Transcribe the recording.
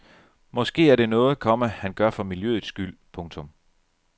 Måske er det noget, komma han gør for miljøets skyld. punktum